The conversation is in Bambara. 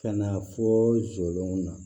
Ka na fɔ jɔlenw na